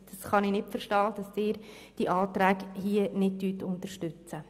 Ich kann nicht verstehen, dass Sie diese Anträge nicht unterstützen.